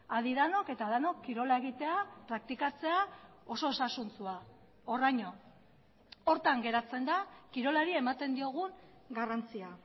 adi denok eta denok kirola egitea praktikatzea oso osasuntsua horraino horretan geratzen da kirolari ematen diogun garrantzia